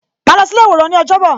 Ma lọ sí ilé iworan ni ọjọ́ bọ̀